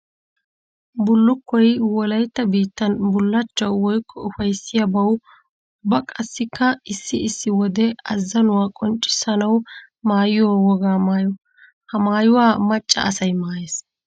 Bullukkoy wolaytta biittan bullachchawu woykko ufayssiyabawu ubba qassikka issi issi wode azannuwa qonccissanawu maayiyo wogaa maayo. Ha maayuwa maca asay maayes.